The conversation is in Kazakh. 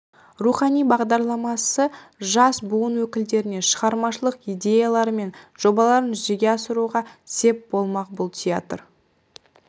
рухани жаңғыру бағдарламасы жас буын өкілдеріне шығармашылық идеялары мен жобаларын жүзеге асыруға сеп болмақ бұл театр